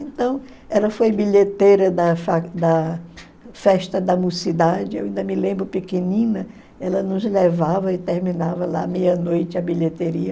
Então, ela foi bilheteira da fa da festa da eu ainda me lembro pequenina, ela nos levava e terminava lá meia-noite a bilheteria.